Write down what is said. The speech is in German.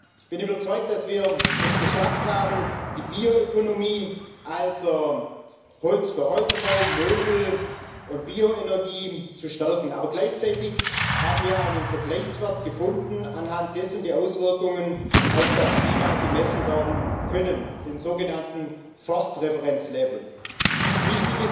Ich bin überzeugt, dass wir es geschafft haben, die Bioökonomie also Holz für Häuserbau, Möbel und Bioenergy zu stärken, aber gleichzeitig haben wir einen Vergleichswert gefunden, anhand dessen die Auswirkungen auf das Klima gemessen werden können, den sogenannten Referenzwert für Wälder